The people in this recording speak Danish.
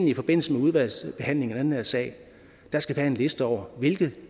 i forbindelse med udvalgsbehandlingen af den her sag skal have en liste over hvilke